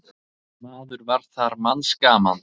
Maður var þar manns gaman.